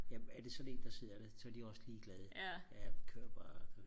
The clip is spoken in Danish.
jamen er det sådan en der sidder der så er de også ligeglade ja kør bare